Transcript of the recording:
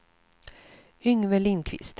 Yngve Lindquist